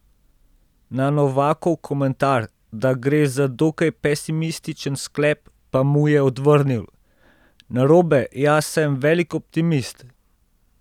Na Novakov komentar, da gre za dokaj pesimističen sklep, pa mu je odvrnil: "Narobe, jaz sem velik optimist.